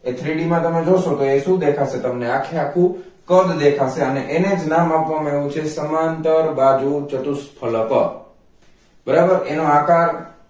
three d મા જોશો તો એ શું દેખાશે તમને આખે આખું કદ દેખાશે અને અનેજ નામ આપવા આવ્યું છે સમાંતર બાજુ ચતુઃ ફલક બરાબર એનો આકાર